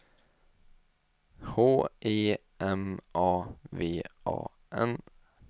H E M A V A N